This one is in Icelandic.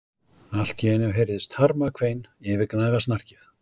Allt í einu heyrðist harmakvein yfirgnæfa snarkið.